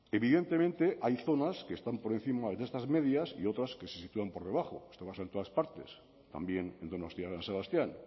evidentemente hay zonas que están por encima de estas medias y otras que se sitúan por debajo esto pasa en todas partes también en donostia san sebastián